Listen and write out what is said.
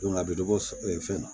a bɛ dɔ bɔ fɛn na